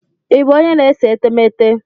Ị bụ onye na-ese etemeete?